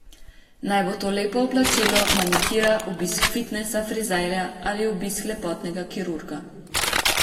Naj bo to lepo oblačilo, manikira, obisk fitnesa, frizerja ali obisk lepotnega kirurga.